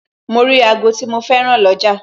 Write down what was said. Mo rí ago tí mo féràn lọ́jà